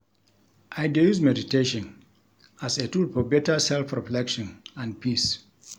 I dey use meditation as a tool for better self-reflection and peace.